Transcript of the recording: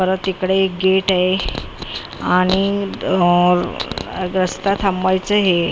परत इकडे एक गेट आहे आणि अ अगस्ता थांबवायचं हे ए.